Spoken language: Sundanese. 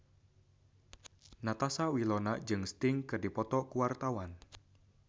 Natasha Wilona jeung Sting keur dipoto ku wartawan